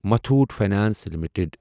Muthoot finance limited